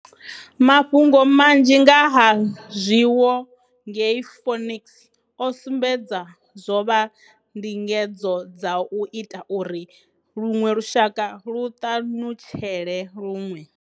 Mafhungo manzhi nga ha zwiwo ngei Phoenix o sumbedza zwo vha ndingedzo dza u ita uri luṅwe lushaka lu ṱanutshele luṅwe.